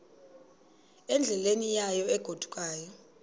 endleleni yayo egodukayo